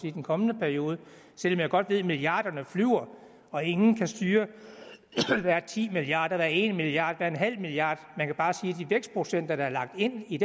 i den kommende periode selv om jeg godt ved at milliarderne flyver og ingen kan styre det der er ti milliarder der er en milliard der er en halv milliard man kan bare se de vækstprocenter der er lagt ind i